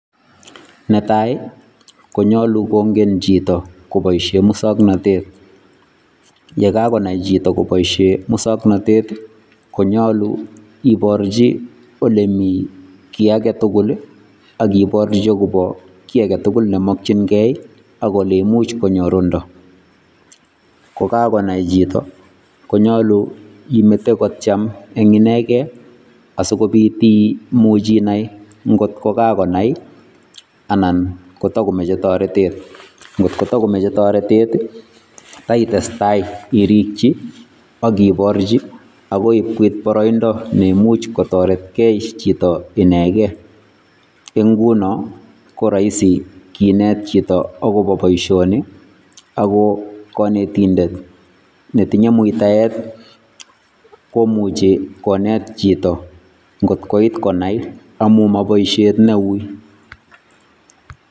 Netai ii ko nyaluu kongeen chitoo kobaisheen musangnatet, ye kagonai chitoo kobaisheen musangnatet konyaluu kibarjiin konai ole Mii kiit age tugul ii agibarjii agobo ki age tugul neimakyiigei ago oleimuich konyorundaa, ko kagonai chitoo konyaluu imete kotyeem en inegei asikobiit ii imuuch inai ngoot ko kagonai anan ko tagomachei taretet ngot ko takomachei taretet ii ko taitestai irigyii ii agibarjii agoi koit baraindaa neimuuch kotaretgei chitoo inegeen en ngunoo ko raisi kineet chitoo agobo boisioni ago maw kanetindeet ne tinye mutaet komuuchi kineet chitoo ngoot koit konai amuun ma boisiet ne wui